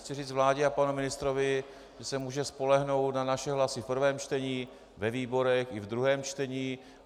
Chci říct vládě a panu ministrovi, že se může spolehnout na naše hlasy v prvém čtení, ve výborech i v druhém čtení.